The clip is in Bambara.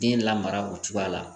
Den lamara o cogoya la